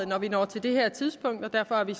når vi når til det her tidspunkt derfor har vi